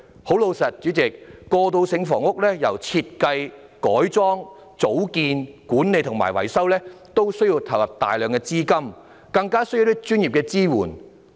代理主席，對於過渡性房屋，由設計、改裝、組建、管理，以至維修，均需要投入大量資金，更需要專業的支援。